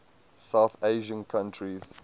south asian countries